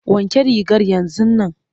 Wanke rigar yanzun nan!